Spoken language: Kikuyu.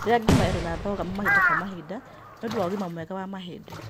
Rĩa ngima ĩrĩ na cogamu mahinda kwa mahinda niũndũ wa ũgima mwega wa mahĩndĩ